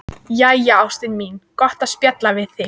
Jæja, ástin mín, gott að spjalla við þig.